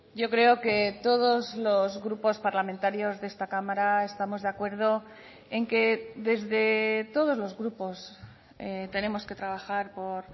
yo creo que todos los grupos parlamentarios de esta cámara estamos de acuerdo en que desde todos los grupos tenemos que trabajar por